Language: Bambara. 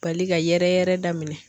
Bali ka yɛrɛyɛrɛ daminɛ.